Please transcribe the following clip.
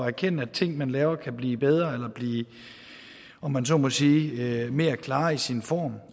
erkende at ting man laver kan blive bedre eller blive om man så må sige mere klare i sin form